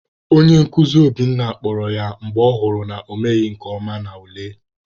Onye nkuzi Obinna kpọrọ ya mgbe ọ hụrụ na ọ emeghị nke ọma n'ule.